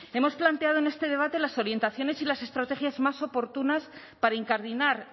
hemos planteado en este debate las orientaciones y las estrategias más oportunas para incardinar